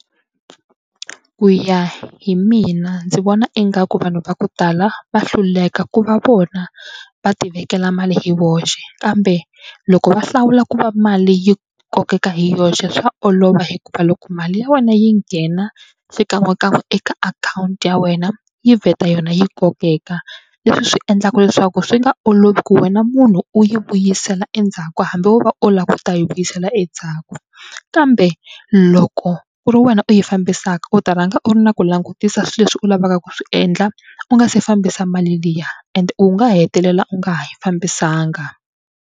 Ku ya hi mina ndzi vona ingaku vanhu va ku tala va hluleka ku va vona va tivekela mali hi voxe kambe loko va hlawula ku va mali yi kokeka hi yoxe swa olova hikuva loko mali ya wena yi nghena xikan'wekan'we eka akhawunti ya wena yi vheta yona yi kokeka. Leswi swi endlaka leswaku swi nga olovi ku wena munhu u yi vuyisela endzhaku hambi wo va u lava ku ta yi vuyisela endzhaku kambe loko ku ri wena u yi fambisaka u ta rhanga u ri na ku langutisa swilo leswi u lavaka ku swi endla u nga se fambisa mali liya and u nga hetelela u nga ha yi fambisanga.